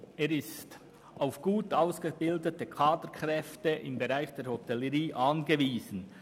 Er ist auf gut ausgebildete Kaderkräfte im Bereich der Hotellerie angewiesen.